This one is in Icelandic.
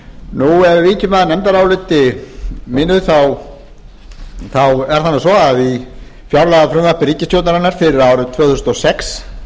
ef við víkjum að nefndaráliti mínu er það nú svo að í fjárlagafrumvarpi ríkisstjórnarinnar fyrir árið tvö þúsund og sex